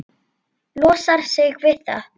Losar sig við það.